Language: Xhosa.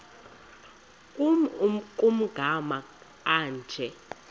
nkr kumagama anje